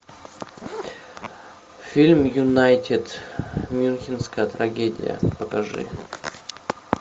фильм юнайтед мюнхенская трагедия покажи